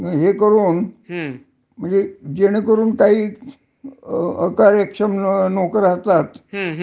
आणि हे नेहमी म्हणजे खाजगी क्षेत्रात नोकराच्या डोक्यावर टांगती तलवार असते.